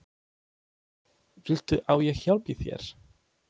Viltu að ég hjálpi þér?